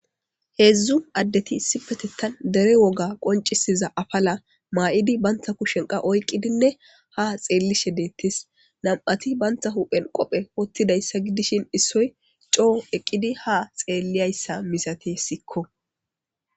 Hezzu addeti issippethan dere woga qonccissiza aphala mayiddi banta kushen oyqqidinne ha tsellshe deetees. Namati banta huphene qobbe uttidase giddishin issoy co ekiqqi ha tselliyayis misatessiko.